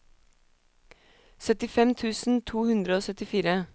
syttifem tusen to hundre og syttifire